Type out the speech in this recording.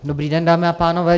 Dobrý den, dámy a pánové.